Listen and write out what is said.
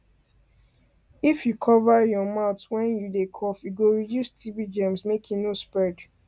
if you cover your mouth wen you dey cough e go reduce tb germs make e no spread